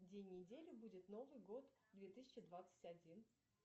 день недели будет новый год две тысячи двадцать один